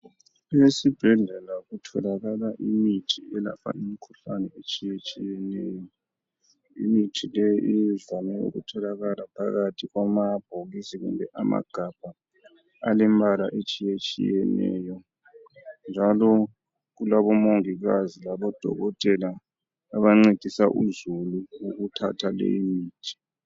Esibhedlela kutholakala imithi elapha imikhuhlane etshiyetshiyeneyo, imithi le ivame ukutholakala phakathi kwamabhokisi kumbe amagabha alemimbala etshiyetshiyeneyo njalo kulabo mongikazi labodokotela abancedisa uzulu ukuthatha lemithi.